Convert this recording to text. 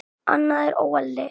Annað er óeðli.